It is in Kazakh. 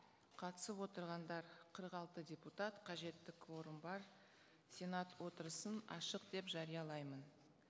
қатысып отырғандар қырық алты депутат қажетті кворум бар сенат отырысын ашық деп жариялаймын